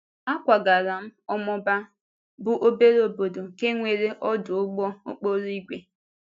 Ákwágàrà m Ọmọ́bà, bụ́ obere obodo nke nwere ọdụ ụgbọ okporo ígwè.